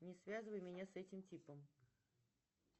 не связывай меня с этим типом